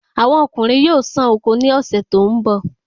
Awọn ọkunrin yóò sán oko ni ọ̀sẹ̀ tó ń bọ̀